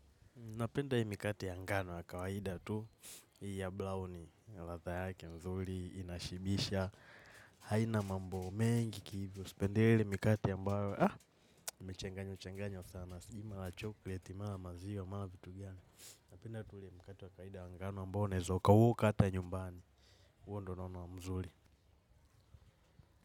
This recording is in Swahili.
Napenda hii mikate ya ngano ya kawaida tu hii ya buraoni, ladha yake nzuri, inashibisha, haina mambo mengi kihivyo, sipendelei mikate ambayo haa, imechanganywa changanywa sana, sijui mara chokleti mara maziwa mara vitu gani, napenda tu ule mkate wa kawaida wa ngano ambayo unaeza ukaukata nyumbani, huo ndo naona mzuri.